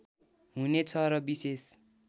हुने छ र विशेष